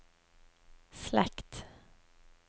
slekt